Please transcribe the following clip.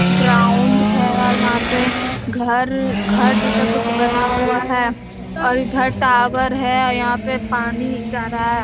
ground है और वहाँ पे घर घर जैसा कुछ बना हुआ है और इधर टावर है और यहाँ पे पानी जा रहा है |